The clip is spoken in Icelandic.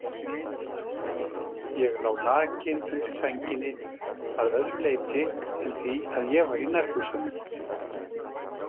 Ég lá nakinn undir sænginni að öðru leyti en því að ég var í nærbuxunum.